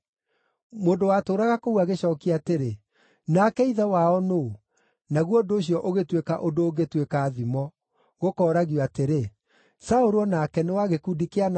Mũndũ watũũraga kũu agĩcookia atĩrĩ, “Nake ithe wao nũũ?” Naguo ũndũ ũcio ũgĩtuĩka ũndũ ũngĩtuĩka thimo, gũkooragio atĩrĩ, “Saũlũ o nake nĩ wa gĩkundi kĩa anabii?”